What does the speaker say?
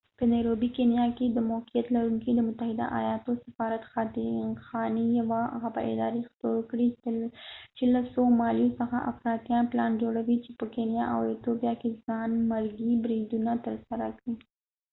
په نيروبې کینیا کي موقعيت لرونکی د متحده ايالاتو سفارت خاتی يوه خبرادارې خپور کړي چي له سومالیا څخه افراطیان پلان جوړاوې چي په کینیا او ایتوپیا کې ځانمرګي بریدونه ترسره کړي